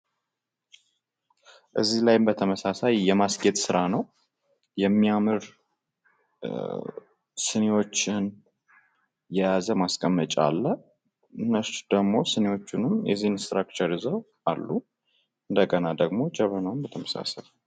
እዚህ ላይም በተመሳሳይ የማስጌጥ ስራ ነዉ። የሚያምር ስኒዎችን የያዘ ማስቀመጫ አለ። ስኒዎቹንም የዚህን ስትራክቸር ይዘዉ አሉ። አሰንዲሁም ደግሞ ጀበናዉም በተመሳሳይ።